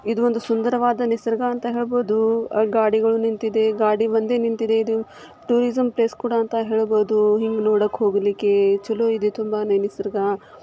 ಇದೊಂದು ಸುಂದರವಾದ ನಿಸರ್ಗ ಅಂತ ಹೇಳ್ಬೋದು. ಗಾಡಿಗಳು ನಿಂತಿದೆ ಗಾಡಿ ಒಂದೇ ನಿಂತಿದೆ. ಇದು ಟೂರಿಸಮ್ ಪ್ಲೇಸ್ ಕೂಡ ಅಂತ ಹೇಳ್ಬೋದು. ಹಿಂಗ್ ನೋಡಕ್ ಹೋಗ್ಲಿಕ್ಕೆ ಚಲೋ ಇದೆ ತುಂಬಾನೇ ನಿಸರ್ಗ.